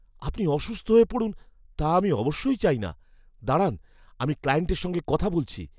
আপনি অসুস্থ হয়ে পড়ুন, তা আমি অবশ্যই চাই না। দাঁড়ান, আমি ক্লায়েন্টের সঙ্গে কথা বলছি।